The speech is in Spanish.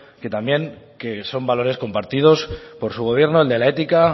que también que son valores compartidos por su gobierno el de la ética